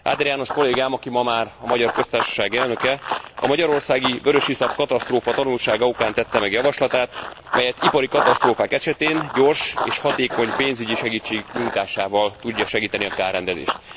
Áder János kollégám, aki ma már a Magyar Köztársaság elnöke, a magyarországi vörösiszap katasztrófa tanulsága okán tette meg javaslatát, mely ipari katasztrófák esetén gyors és hatékony pénzügyi segítség nyújtásával tudja segíteni a kárrendezést.